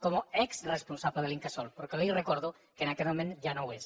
com a exresponsable de l’incasol però que li recordo que en aquest moment ja no ho és